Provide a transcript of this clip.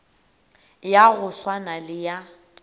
ya go swana le ya